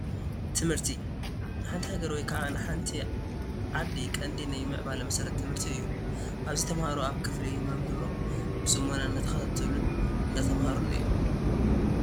ትምህርቲ፡- ንሓንቲ ሃገር ወይ ከዓ ንሓንቲ ዓዲ ቀንዲ ናይ ምዕባለ መሰረታ ትምህርቲ እዩ፡፡ ኣብዚ ተምሃሮ ኣብ ክፍሊ ንመምሮም ብፅሞና እንዳተኸታተሉን እንዳተማሃሩን እዮም፡፡